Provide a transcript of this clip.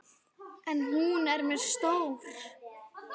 En hún er mér stór.